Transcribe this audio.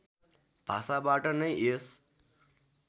भाषाबाट नै यस